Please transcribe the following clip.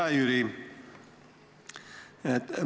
Hea Jüri!